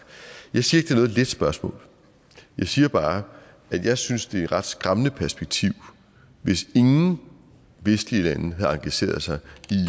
jeg siger noget let spørgsmål jeg siger bare at jeg synes det ret skræmmende perspektiv hvis ingen vestlige lande havde engageret sig